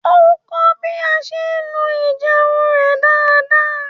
Ó kọ́ bí a ṣe ń lo ijeun rẹ̀ dáadáa